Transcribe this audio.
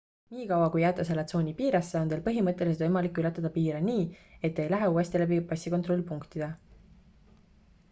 nii kaua kui jääte selle tsooni piiresse on teil põhimõtteliselt võimalik ületada piire nii et te ei lähe uuesti läbi passikontrollpunktide